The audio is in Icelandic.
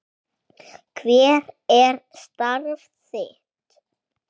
Hver er starf þitt?